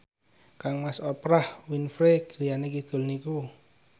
kangmas Oprah Winfrey griyane kidul niku